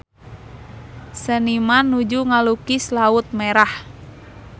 Seniman nuju ngalukis Laut Merah